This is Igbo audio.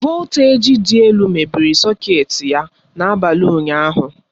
Voltaji dị elu mebiri sọketi ya na-abalị ụnyaahụ.